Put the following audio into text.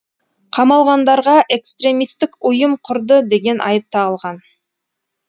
қамалғандарға экстремистік ұйым құрды деген айып тағылған